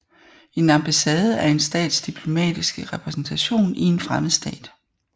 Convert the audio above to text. En ambassade er en stats diplomatiske repræsentation i en fremmed stat